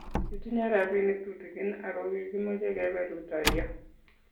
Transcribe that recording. kitinye robinik tutegen aku kikimeche kebe rutoiyo